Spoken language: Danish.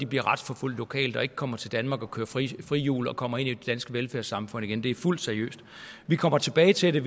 bliver retsforfulgt lokalt og ikke kommer til danmark og kører frihjul frihjul og kommer ind i det danske velfærdssamfund igen det er fuldt seriøst vi kommer tilbage til det